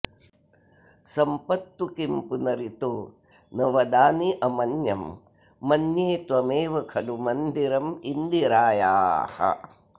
सम्पत्तु किं पुनरितो न वदान्यमन्यं मन्ये त्वमेव खलु मन्दिरमिन्दिरायाः